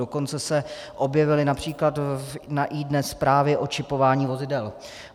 Dokonce se objevily například na iDNES zprávy o čipování vozidel.